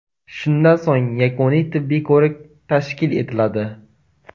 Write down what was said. Shundan so‘ng yakuniy tibbiy ko‘rik tashkil etiladi.